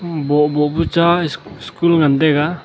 bohboh pu cha ss school ngan taiga.